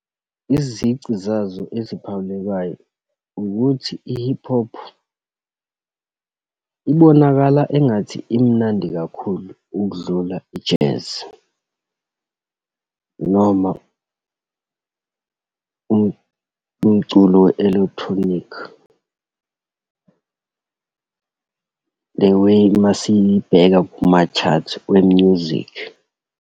Izici zazo eziphawulekayo ukuthi i-hip hop ibonakala engathi imnandi kakhulu ukudlula i-jazz, noma umculo we-electronic. The way uma siyibheka kuma-chart we-music.